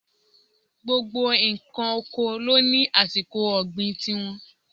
Gbogbo ǹkan oko ló ní àsìkò ọ̀gbìn ti wọn.